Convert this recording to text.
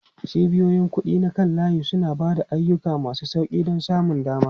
Cibiyoyin kuɗi na kan layi suna ba da ayyuka masu sauƙi da samun dama.